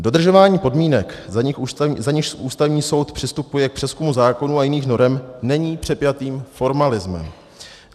Dodržování podmínek, za nichž Ústavní soud přistupuje k přezkumu zákonů a jiných norem, není přepjatým formalismem.